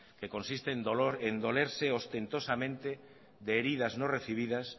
que consiste en dolerse ostentosamente de heridas no recibidas